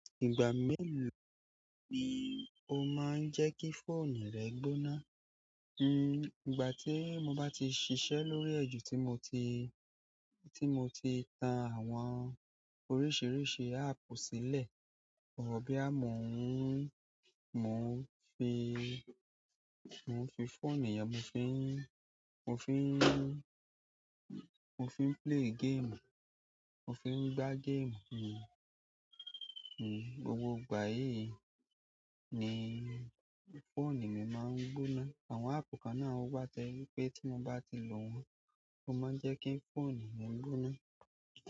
Ìgbà mélòó ni o máa ń jẹ́ kí fóònù rẹ gbóná? Ìgbà tí mo bá ti ṣiṣẹ́ lórí ẹ́ ju, tí mo ti tan àwọn oríṣìíríṣìí áàpù sílẹ̀, àwọn bóyá mo ń fi fóònù yẹn, mo fi, mo fi, mo fi ń play game, mo fi ń gbá game. Gbogbo ìgbà yìí ni fóònù mi máa ń gbóná. Àwọn áàpù kan náà wa to jẹ wípé tí mo bá ti lo wọ́n, ó máa ń jẹ́ kí fóònù mi gbóná.